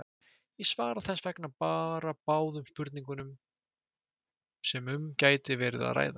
Ég svara þess vegna bara báðum spurningunum sem um gæti verið að ræða.